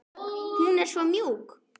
Hún er svo mjúk.